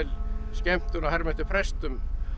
skemmtun að herma eftir prestum